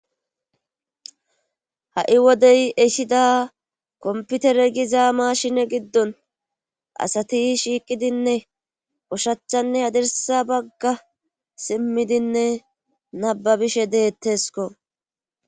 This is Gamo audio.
Ha'i woday ehida komputere gizaa mashine giddon asati shiiqidinne ushachanne hadirsa bagga simmidinne nababishe deettesko.